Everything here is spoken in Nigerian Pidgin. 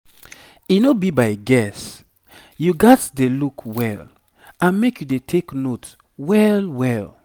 e no be by guess you gats dey look well and make you dey take note well well